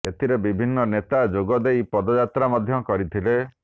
ଏଥିରେ ବିଭିନ୍ନ ନେତା ଯୋଗ ଦେଇ ପଦଯାତ୍ରା ମଧ୍ୟ କରିଥିଲେ